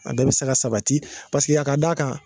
A bɛɛ bi se ka sabati paseke y' a ka d'a kan